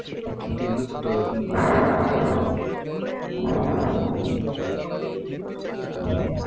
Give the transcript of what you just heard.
কিন্তু এগুলো দর